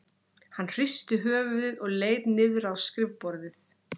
Hann hristi höfuðið og leit niður á skrifborðið.